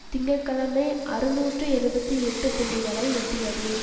திங்க கிழமை அறுநூற்று எழுபத்து எட்டு புள்ளிகளை எட்டியது